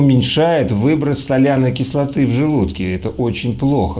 уменьшает выброс соляной кислоты в желудке это очень плохо